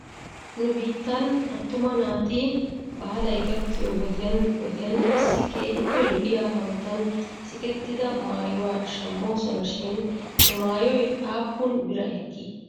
Nu biittan attuma naati baalay gakkiyoo wodiyan wodiyan issi keehippe lo'iyaa hanotan sikettida maayuwaa shamoosona shin he maayoy aappun bira ekkii?